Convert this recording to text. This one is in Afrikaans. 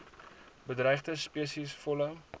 bedreigde spesies volle